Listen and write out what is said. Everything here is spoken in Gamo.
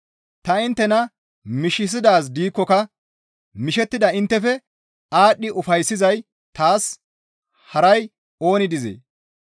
Ta inttena mishisidaaz gidikkoka mishettida inttefe aadhdhi ufayssizay taas haray ooni dizee?